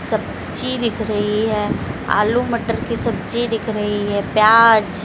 सब्जी दिख रही है आलू मटर की सब्जी दिख रही है प्याज--